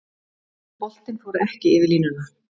Boltinn fór ekki yfir línuna